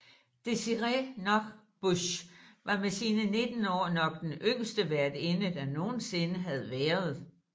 Desirée Nosbusch var med sine 19 år nok den yngste værtinde der nogen sinde har været